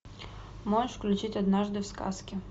можешь включить однажды в сказке